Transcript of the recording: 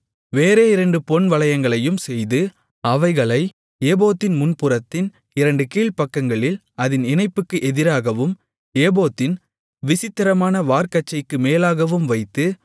வேறே இரண்டு பொன்வளையங்களையும் செய்து அவைகளை ஏபோத்தின் முன்புறத்தின் இரண்டு கீழ்ப்பக்கங்களில் அதின் இணைப்புக்கு எதிராகவும் ஏபோத்தின் விசித்திரமான வார்க்கச்சைக்கு மேலாகவும் வைத்து